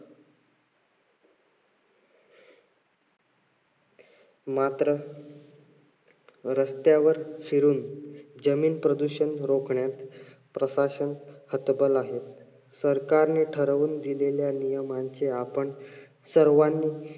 मात्र रस्त्यावर फिरून जमीन प्रदूषण रोखण्यास प्रशासन हतबल आहेत. सरकारने ठरवून दिलेल्या नियमाचे आपण सर्वानी